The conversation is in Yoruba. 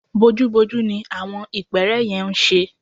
Bojúbojú ní àwọn ìpẹ́ẹ́rẹ́ yẹn ń ṣe